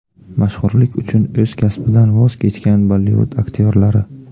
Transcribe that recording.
Mashhurlik uchun o‘z kasbidan voz kechgan Bollivud aktyorlari .